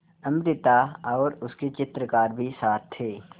अमृता और उसके चित्रकार भी साथ थे